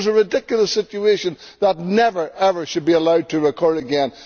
It was a ridiculous situation that never, ever should be allowed to occur again.